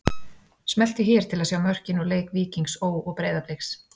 Smelltu hér til að sjá mörkin úr leik Víkings Ó. og Breiðabliks